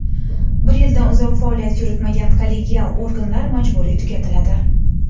Bir yildan uzoq faoliyat yuritmagan kollegial organlar majburiy tugatiladi.